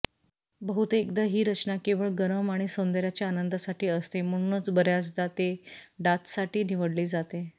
बहुतेकदा ही रचना केवळ गरम आणि सौंदर्याचा आनंदासाठी असते म्हणूनच बर्याचदा ते डाचसाठी निवडले जाते